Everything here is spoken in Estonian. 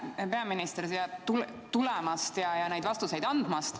Aitäh, hea peaminister, siia tulemast ja neid vastuseid andmast!